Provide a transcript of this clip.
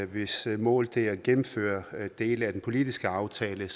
hvis mål det er at gennemføre dele af den politiske aftale